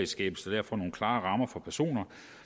skabes der derfor nogle klare rammer for personer